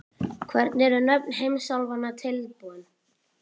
Hvernig eru nöfn heimsálfanna til komin?